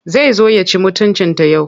Zai zo ya ci mutuncinta yau.